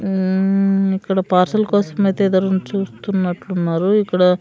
మ్మ్ ఇక్కడ పార్సెల్ కోసం అయితే ఎదురు చూస్తున్నట్లున్నారు ఇక్కడ--